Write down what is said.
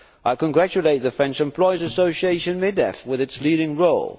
I congratulate the French employers association MEDEF on its leading role.